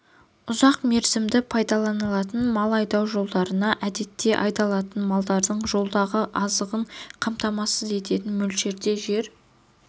ұзақ мерзімді пайдаланылатын мал айдау жолдарына әдетте айдалатын малдың жолдағы азығын қамтамасыз ететін мөлшерде жер